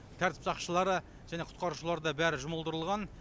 тәртіп сақшылары және құтқарушылар да бәрі жұмылдырылған